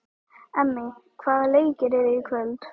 Emmý, hvaða leikir eru í kvöld?